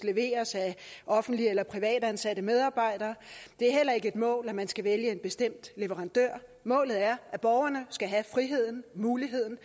leveres af offentligt eller privat ansatte medarbejdere det er heller ikke et mål at man skal vælge en bestemt leverandør målet er at borgerne skal have muligheden